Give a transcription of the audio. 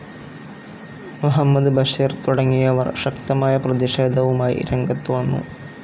മുഹമ്മദ് ബഷീർ തുടങ്ങിയവർ ശക്തമായ പ്രതിഷേധവുമായി രംഗത്തു വന്നു.